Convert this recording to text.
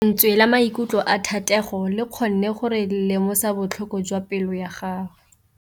Lentswe la maikutlo a Thategô le kgonne gore re lemosa botlhoko jwa pelô ya gagwe.